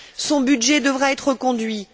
son budget devra être reconduit.